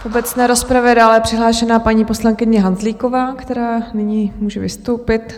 V obecné rozpravě je dále přihlášena paní poslankyně Hanzlíková, která nyní může vystoupit.